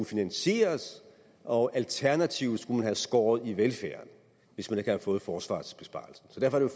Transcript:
finansieres og alternativt skulle man have skåret i velfærden hvis man ikke havde fået forsvarsbesparelsen så derfor er